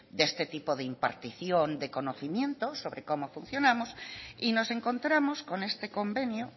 de este tipo de impartición de conocimiento sobre cómo funcionamos y nos encontramos con este convenio